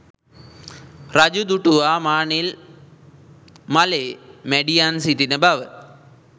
රජු දුටුවා මානෙල් මලේ මැඩියන් සිටින බව.